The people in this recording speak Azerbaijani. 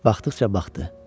Baxdıqca baxdı.